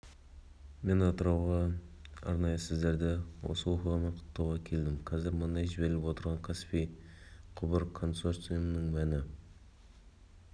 мен атырауға арнайы сіздерді осы оқиғамен құттықтауға келдім қазір мұнай жіберіліп отырған каспий құбыр консорциумының мәні